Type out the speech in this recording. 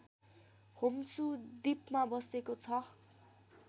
Honshu द्वीपमा बसेको छ